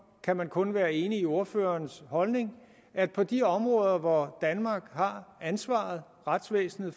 kan man kun være enig i ordførerens holdning at på de områder hvor danmark har ansvaret retsvæsenet